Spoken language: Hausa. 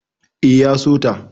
E, ya so ta.